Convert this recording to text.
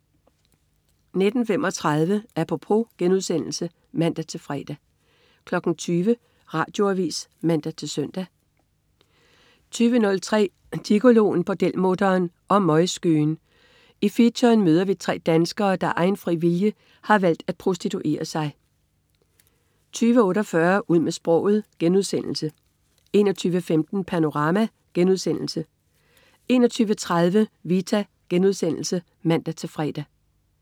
19.35 Apropos* (man-fre) 20.00 Radioavis (man-søn) 20.03 Gigoloen, bordelmutteren og møgskøen. I featuren møder vi tre danskere, der af egen fri vilje har valgt at prostituere sig 20.48 Ud med sproget* 21.15 Panorama* 21.30 Vita* (man-fre)